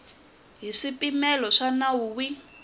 hi swipimelo swa nawu wihi